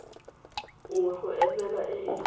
nngwe go emela e e